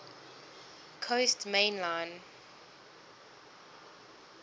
coast main line